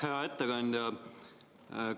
Hea ettekandja!